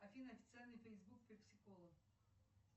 афина официальный фейсбук пепси кола